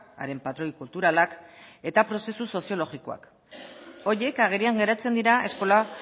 haren patroi kulturalak eta prozesu soziologikoak horiek agerian geratzen dira eskola